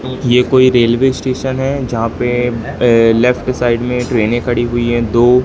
ये कोई railway station है जहां पे अ लेफ्ट साइड में ट्रेनें खड़ी हुई हैं दो--